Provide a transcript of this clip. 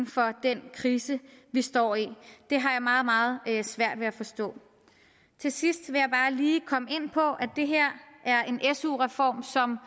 for den krise vi står i det har jeg meget meget svært ved at forstå til sidst vil jeg bare lige komme ind på at det her er en su reform som